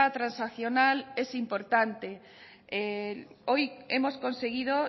transaccional es importante hoy hemos conseguido